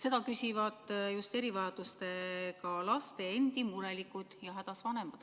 Seda küsivad just erivajadustega laste endi murelikud ja hädas vanemad.